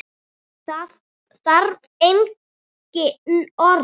Það þarf engin orð.